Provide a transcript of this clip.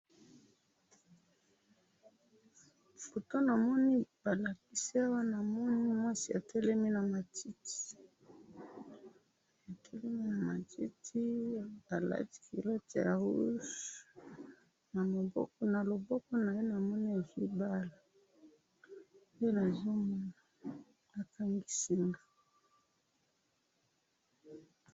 Photo namoni balakisi Awa, namoni mwasi atelemi na matiti, atelemi na matiti, alati culotte ya rouge, na loboko na ye namoni azwi balle. Nde nazomona balakisi nga